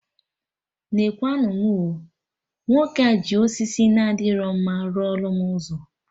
Nekwa nụ mụ oo! Nwoke a ji osisi na adịro mma rụọ lụ m ụzọ